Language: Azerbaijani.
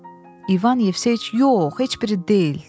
İvan Yevseyiç yox, heç biri deyil,